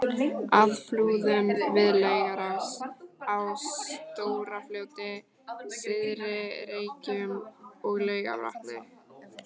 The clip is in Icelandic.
að Flúðum, við Laugarás, á Stóra-Fljóti, Syðri-Reykjum og Laugarvatni.